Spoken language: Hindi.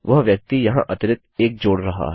वह व्यक्ति यहाँ अतिरिक्त 1 जोड़ रहा है